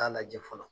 Taa lajɛ fɔlɔ